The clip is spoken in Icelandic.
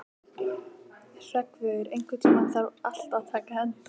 Hreggviður, einhvern tímann þarf allt að taka enda.